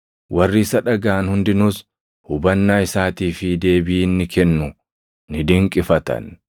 Warri isa dhagaʼan hundinuus hubannaa isaatii fi deebii inni kennu ni dinqifatan.